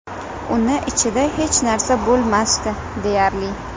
Uni ichida hech narsa bo‘lmasdi, deyarli.